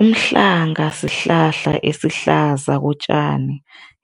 Umhlanga sihlahla esihlaza kotjani,